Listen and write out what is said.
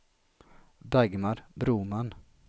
Dagmar Broman